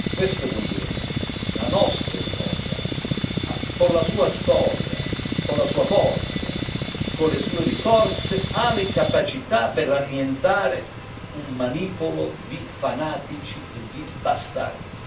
Questo continente, la nostra Europa, con la sua storia, con la sua forza, con le sue risorse ha le capacità per annientare un manipolo di fanatici e di bastardi.